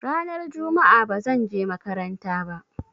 Ranar juma'a ba zan je makaranta ba.